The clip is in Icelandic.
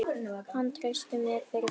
Hann treysti mér fyrir þeim.